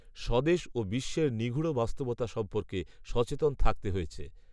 স্বদেশ ও বিশ্বের নিগূঢ় বাস্তবতা সম্পর্কে সচেতন থাকতে হয়েছে